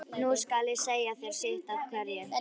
Nú skal ég segja þér sitt af hverju.